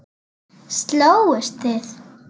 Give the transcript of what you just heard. Slógust þið?